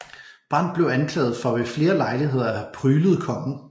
Brandt blev anklaget for ved flere lejligheder at have pryglet kongen